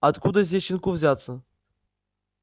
а откуда здесь щенку взяться